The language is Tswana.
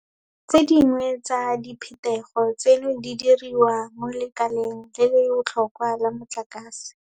Tse dingwe tsa diphetogo tseno di diriwa mo lekaleng le le botlhokwa la motlakase.